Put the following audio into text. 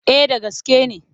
Eh da gaske ne.